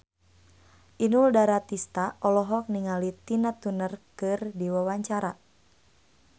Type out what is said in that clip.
Inul Daratista olohok ningali Tina Turner keur diwawancara